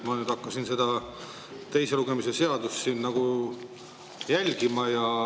Ma nüüd hakkasin seda teise lugemise nagu jälgima.